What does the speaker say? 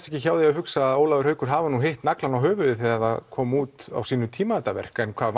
ekki hjá því að hugsa að Ólafur Haukur hafi hitt naglann á höfuðið þegar það kom út á sínum tíma þetta verk en hvað